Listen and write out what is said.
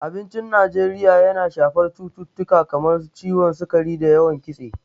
Abincin Najeriya yana shafar cututtuka kamar su ciwon sukari da yawan Kitse.